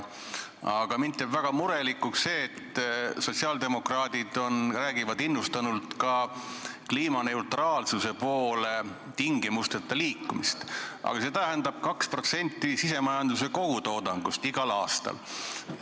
Aga mind teeb väga murelikuks, et sotsiaaldemokraadid räägivad innustunult ka tingimusteta kliimaneutraalsuse poole liikumisest, aga see tähendab 2% sisemajanduse kogutoodangust igal aastal.